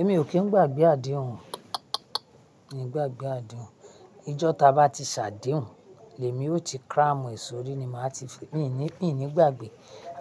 Èmi ò kín ń gbàgbé àdéhùn, miì ń gbàgbé àdéhùn, ijọ́ táa bá ti ṣàdéhùn, l'èmi óó ti cram ẹ̀ sórí ni màá ti fi, miì ní, miì ní gbàgbè,